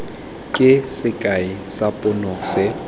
ke sekai sa pono se